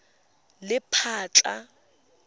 lephatla